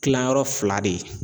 Kilayɔrɔ fila de ye